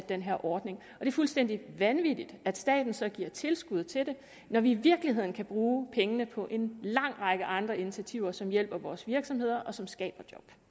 den her ordning og det er fuldstændig vanvittigt at staten så giver tilskud til det når vi i virkeligheden kan bruge pengene på en lang række andre initiativer som hjælper vores virksomheder og som skaber